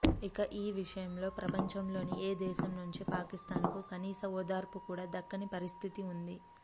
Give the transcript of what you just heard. ఇక ఈ విషయంలో ప్రపంచంలోని ఏ దేశం నుంచీ పాకిస్థాన్ కు కనీస ఓదార్పు కూడా దక్కని పరిస్థితి ఉంది